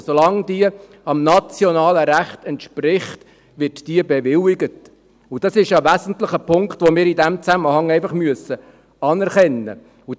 Solange diese dem nationalen Recht entspricht, wird diese bewilligt, und das ist ein wesentlicher Punkt, den wir in diesem Zusammenhang einfach anerkennen müssen.